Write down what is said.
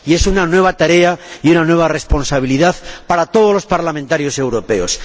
Y es una nueva tarea y una nueva responsabilidad para todos los parlamentarios europeos.